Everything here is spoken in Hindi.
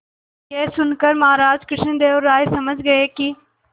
यह सुनकर महाराज कृष्णदेव राय समझ गए कि